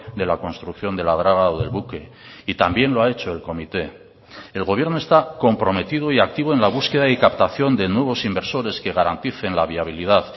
de la construcción de la draga o del buque y también lo ha hecho el comité el gobierno está comprometido y activo en la búsqueda y captación de nuevos inversores que garanticen la viabilidad